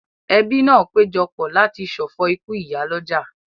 Ẹbí náà péjọ pọ̀ láti ṣọ̀fọ̀ ikú ìyálọ́jà